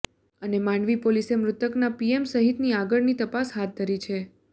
અને માંડવી પોલીસે મૃતકના પીએમ સહિતની આગળની તાપસ હાથ ધરી છે